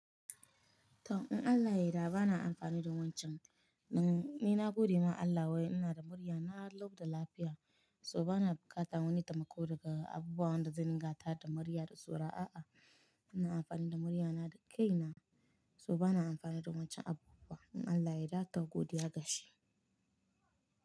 To in Allah yadda ba na amfani da wancan. Ni na gode ma Allah wai ina da murya, na lou da lafiya so ba na buƙata wani taimako daga abubu wanda zan tada murya da saurawa a'a. Ina amfani da muryana da kai na so ba na amfani da wancan abu ba. In Allah ya yarda to godiya gashi.